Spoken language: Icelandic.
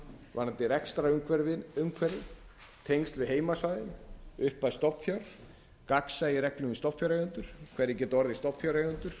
vonandi rekstrarumhverfi tengsl við heimasvæðin upphæð stofnfjár gagnsæi í reglum við stofnfjáreigendur hverjir geta orðið stofnfjáreigendur